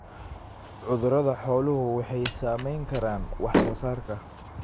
Cudurada xooluhu waxay saamayn karaan wax soo saarka.